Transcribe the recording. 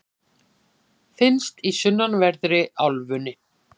finnst í sunnanverðri álfunni